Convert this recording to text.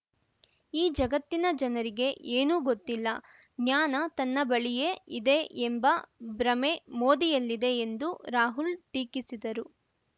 ಈ ಜಗತ್ತಿನ ಜನರಿಗೆ ಏನೂ ಗೊತ್ತಿಲ್ಲ ಜ್ಞಾನ ತನ್ನ ಬಳಿಯೇ ಇದೆ ಎಂಬ ಭ್ರಮೆ ಮೋದಿಯಲ್ಲಿದೆ ಎಂದೂ ರಾಹುಲ್‌ ಟೀಕಿಸಿದರು